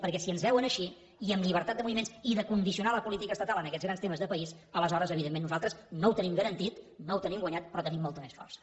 perquè si ens veuen així i amb llibertat de moviments i de condicionar la política estatal en aquests grans temes de país aleshores evidentment nosaltres no ho tenim garantit no ho tenim guanyat però tenim molta més força